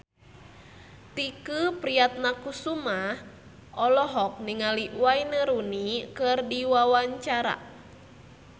Tike Priatnakusuma olohok ningali Wayne Rooney keur diwawancara